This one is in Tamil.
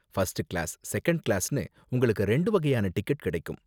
ஃபர்ஸ்ட் கிளாஸ், செகண்ட் கிளாஸ்னு உங்களுக்கு ரெண்டு வகையான டிக்கெட் கிடைக்கும்.